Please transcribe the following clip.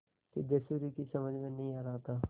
सिद्धेश्वरी की समझ में नहीं आ रहा था